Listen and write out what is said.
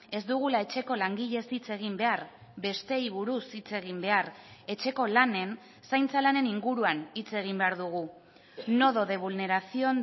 ez dugula etxeko langileez hitz egin behar besteei buruz hitz egin behar etxeko lanen zaintza lanen inguruan hitz egin behar dugu nodo de vulneración